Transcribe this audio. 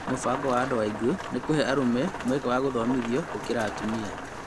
Mũbango wa andũ aingĩ nĩ kũhe arũme mweke wa gũthomithio gũkĩra atumia